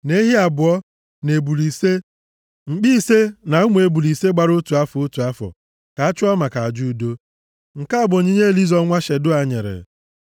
na ehi abụọ, na ebule ise, mkpi ise, na ụmụ ebule ise gbara otu afọ, otu afọ, ka a chụọ maka aja udo. Nke a bụ onyinye Elizọ nwa Shedeua nyere.